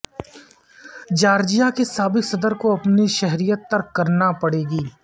Georgia کے سابق صدر کو اپنی شہریت ترک کرنا پڑ گئی